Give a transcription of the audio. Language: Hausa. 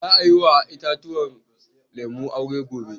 Za a yi wa itatuwan lemu aure gobe.